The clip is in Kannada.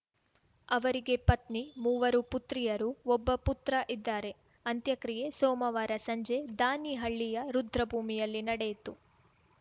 ಅವರಿಗೆ ಪತ್ನಿ ಮೂವರು ಪುತ್ರಿಯರು ಒಬ್ಬ ಪುತ್ರ ಇದ್ದಾರೆ ಅಂತ್ಯಕ್ರಿಯೆ ಸೋಮವಾರ ಸಂಜೆ ದಾನಿಹಳ್ಳಿಯ ರುದ್ರಭೂಮಿಯಲ್ಲಿ ನಡೆಯಿತು